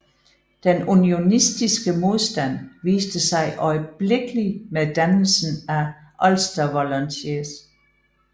Den unionistiske modstand viste sig øjeblikkelig med dannelsen af Ulster Volunteers